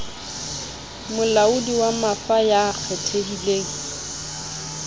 molaodi wa mafa ya kgethehileng